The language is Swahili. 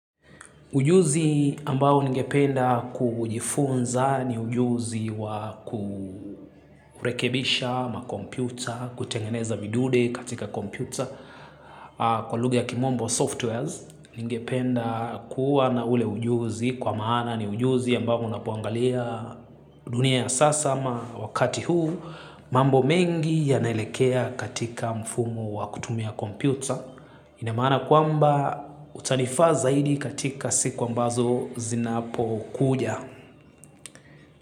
Ujuzi ambao ningependa kujifunza ni ujuzi wa kurekebisha makompyuta, kutengeneza vidude katika kompyuta kwa lugha kimombo softwares. Ningependa kuwa na ule ujuzi kwa maana ni ujuzi ambao unapoangalia dunia ya sasa ama wakati huu mambo mengi yanaelekea katika mfumo wa kutumia kompyuta. Ina maana kwamba utanifaa zaidi katika siku ambazo zinapokuja.